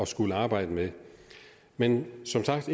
skulle arbejde med men som sagt